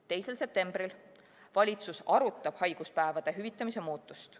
2. septembril: "Valitsus arutab haiguspäevade hüvitamise muutust".